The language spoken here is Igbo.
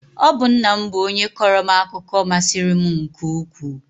Ọ bụ nna m bụ onye kọọrọ m akụkọ masịrị m nke ukwuu